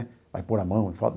Vai pôr a mão em foto.